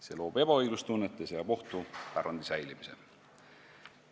See loob ebaõiglustunnet ja seab ohtu pärandi säilimise.